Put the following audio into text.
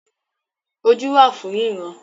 Ojú wà fún ríran